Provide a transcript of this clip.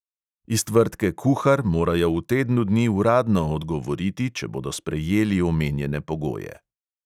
Iz tvrdke kuhar morajo v tednu dni uradno odgovoriti, če bodo sprejeli omenjene pogoje.